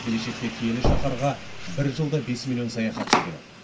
келешекте киелі шаһарға бір жылда бес миллион саяхатшы келеді